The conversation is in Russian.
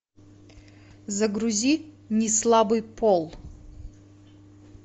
загрузи не слабый пол